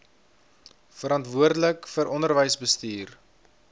verantwoordelik vir onderwysbestuur